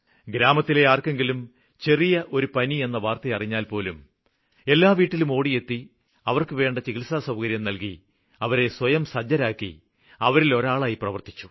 ഗ്രാമത്തിലെ ആര്ക്കെങ്കിലും ചെറിയ ഒരു പനിയെന്ന വാര്ത്തയറിഞ്ഞാല്പോലും എല്ലാ വീട്ടിലും ഓടിയെത്തി അവര്ക്ക് വേണ്ട ചികിത്സാസൌകര്യം നല്കി അവരെ സ്വയംസജ്ജമാക്കി അവരിലൊരാളായ് പ്രവര്ത്തിച്ചു